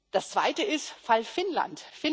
Das zweite ist der Fall Finnland.